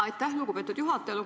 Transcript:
Aitäh, lugupeetud juhataja!